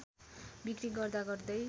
बिक्री गर्दा गर्दै